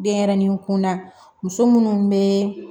Denɲɛrɛnin kunda muso minnu bɛ